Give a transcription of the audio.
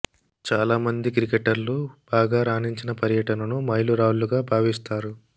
చాలా మంది క్రికెటర్లు బాగా రాణించిన పర్యటనను మైలు రాళ్లుగా భావిస్తారు